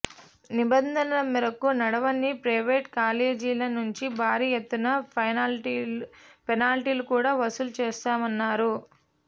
నిబంధనల మేరకు నడవని ప్రైవేట్ కాలేజీల నుంచి భారీ ఎత్తున ఫెనాల్టీలు కూడా వసూలు చేశామన్నారు